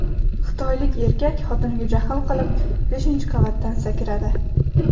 Xitoylik erkak xotiniga jahl qilib beshinchi qavatdan sakradi.